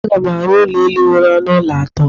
Aga m arụ ụlọ elụ nwere ọnụ ụlọ atọ.